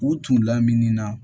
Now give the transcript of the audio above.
U tun lamini na